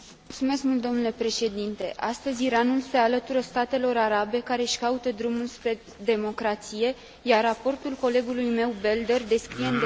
Astăzi, Iranul se alătură statelor arabe care își caută drumul spre democrație, iar raportul colegului meu Belder descrie în detaliu situația din țară.